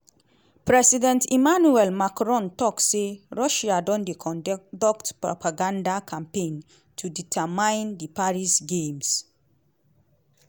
president emmanuel macron tok say russia don dey conduct propaganda campaign to undermine di paris games.